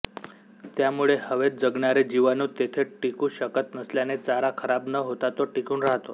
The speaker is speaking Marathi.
त्यामुळे हवेत जगणारे जीवाणू तेथे टिकू शकत नसल्याने चारा खराब न होता तो टिकून राहतो